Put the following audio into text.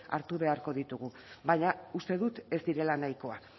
hartu beharko ditugu baina uste dut ez direla nahikoak